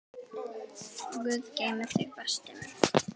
Guð geymi þig, besti minn.